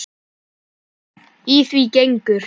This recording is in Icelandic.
Í því gengur